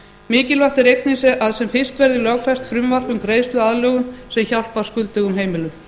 mikilvægt er einnig að sem fyrst verði lögfest frumvarp um greiðsluaðlögun sem hjálpar skuldugum heimilum